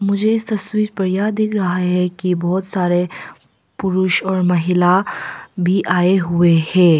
मुझे इस तस्वीर पर यह दिख रहा है कि बहुत सारे पुरुष और महिला भी आए हुए हैं।